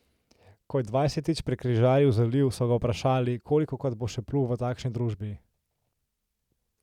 Ko je dvajsetič prekrižaril zaliv, so ga vprašali, kolikokrat bo še plul v takšni družbi.